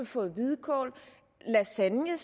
fået hvidkål lasagne